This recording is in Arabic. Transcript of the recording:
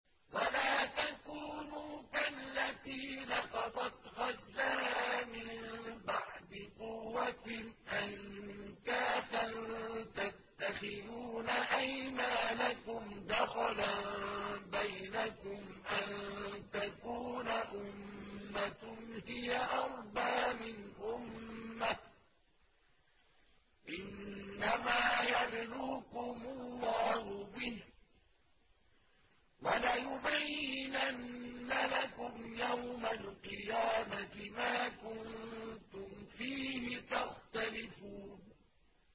وَلَا تَكُونُوا كَالَّتِي نَقَضَتْ غَزْلَهَا مِن بَعْدِ قُوَّةٍ أَنكَاثًا تَتَّخِذُونَ أَيْمَانَكُمْ دَخَلًا بَيْنَكُمْ أَن تَكُونَ أُمَّةٌ هِيَ أَرْبَىٰ مِنْ أُمَّةٍ ۚ إِنَّمَا يَبْلُوكُمُ اللَّهُ بِهِ ۚ وَلَيُبَيِّنَنَّ لَكُمْ يَوْمَ الْقِيَامَةِ مَا كُنتُمْ فِيهِ تَخْتَلِفُونَ